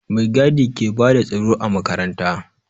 Mai gadi ke bada tsaro a makaranta